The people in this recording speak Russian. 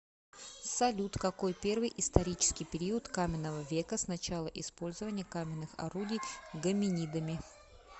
салют какой первый исторический период каменного века с начала использования каменных орудий гоминидами